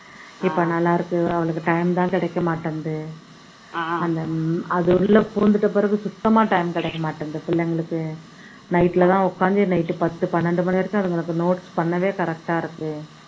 இப்போ நல்லா இருக்கு, அவளுக்கு time ஏ தான் கிடைக்க மாட்டேன்னுது அந்த அது உள்ள பூந்துட்ட பிறகு சுத்தம்மா time ஏ கிடைக்க மாட்டேன்னுது பிள்ளைங்களுக்கு night ல தான் உக்காந்து night பத்து பன்னெண்டு மணி வரைக்கும் அதுங்களுக்கு notes பண்ணவே correct ஆ இருக்கு